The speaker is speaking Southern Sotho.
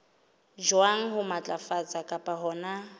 jwang ho matlafatsa kapa hona